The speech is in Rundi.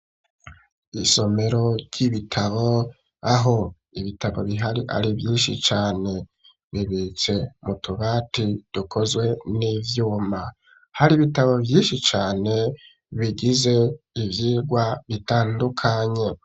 Isomero ry'ibitabo aho ibitabo bihari ari vyinshi cane bibitse mu tubati dukozwe n'ivyuma hari ibitabo vyinshi cane bigize ivyigwa bitandukanye.